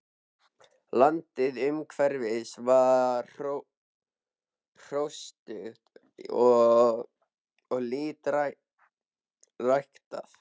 Landið umhverfis var hrjóstrugt og lítt ræktað.